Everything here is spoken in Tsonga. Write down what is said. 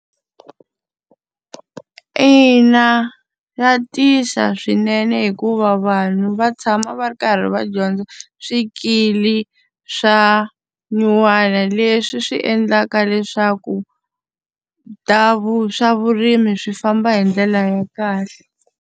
Ina, swa tisa swinene hikuva vanhu va tshama va ri karhi va dyondza swikili swa nyuwana leswi swi endlaka leswaku, ta swa vurimi swi famba hi ndlela ya kahle.